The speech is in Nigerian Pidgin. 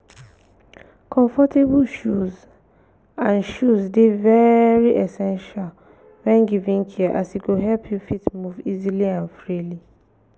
comfortable shoes and shoes de very essential when giving care as e go help you fit move easily and freely